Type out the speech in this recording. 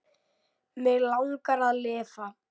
Mig langar að lifa.